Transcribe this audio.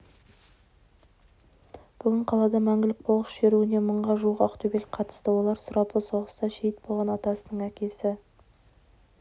бүгін қалада мәңгілік полк шеруіне мыңға жуық ақтөбелік қатысты олар сұрапыл соғыста шейіт болған атасының әкесі